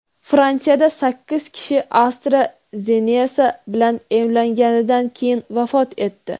Fransiyada sakkiz kishi AstraZeneca bilan emlanganidan keyin vafot etdi.